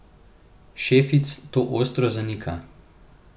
Šefic to ostro zanika.